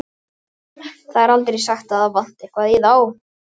Það er aldrei sagt að það vanti eitthvað í þá.